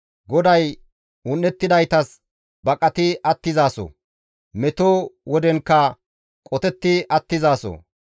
GODAY un7ettidaytas baqati attizaso; meto wodetankka qotetti attizaso.